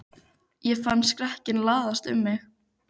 Ég fann skrekkinn læsast um mig.